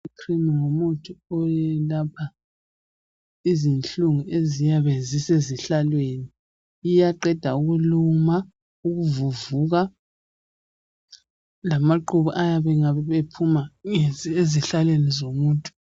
Icream ngumuthi oyelapha izinhlungu eziyabe zisezihlalweni, iyaqeda ukuluma, ukuvuvuka lamaqhubu ayabe engabe ephuma ezihlalweni zomuntu